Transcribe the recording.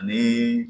Ani